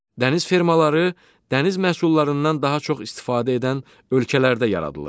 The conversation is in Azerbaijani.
Dəniz fermaları dəniz məhsullarından daha çox istifadə edən ölkələrdə yaradılır.